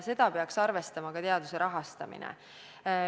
Seda peaks arvestama ka teaduse rahastamisel.